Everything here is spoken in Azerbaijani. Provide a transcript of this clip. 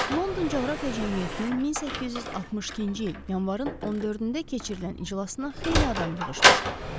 London Coğrafiya Cəmiyyətinin 1862-ci il yanvarın 14-də keçirilən iclasına xeyli adam yığışmışdı.